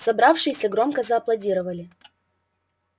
собравшиеся громко зааплодировали